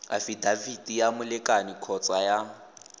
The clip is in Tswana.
afidafiti ya molekane kgotsa ya